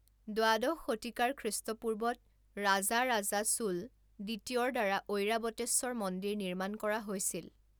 দ্বাদশ শতিকাৰ খ্ৰীষ্টপূৰ্বত ৰাজাৰাজা চোল দ্বিতীয়ৰ দ্বাৰা ঐৰাৱতেশ্বৰ মন্দিৰ নিৰ্মাণ কৰা হৈছিল।